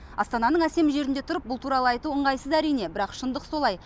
астананың әсем жерінде тұрып бұл туралы айтқан ыңғайсыз әрине бірақ шындық солай